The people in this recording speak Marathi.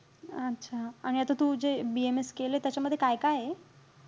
अच्छा. आणि आता तू जे BAMS केलंय, त्याच्यामध्ये काय-काये?